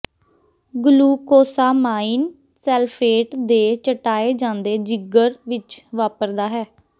glucosamine sulphate ਦੇ ਚਟਾਏ ਜਾਂਦੇ ਜਿਗਰ ਵਿੱਚ ਵਾਪਰਦਾ ਹੈ